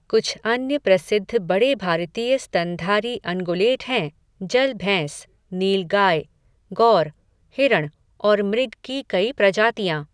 कुछ अन्य प्रसिद्ध बड़े भारतीय स्तनधारी अनगुलेट हैं जल भैंस, नीलगाय, गौर, हिरण और मृग की कई प्रजातियाँ।